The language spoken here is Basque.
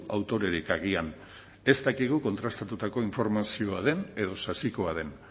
autorerik agian ez dakigu kontrastatutako informazioa den edo sasikoa den